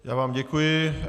Já vám děkuji.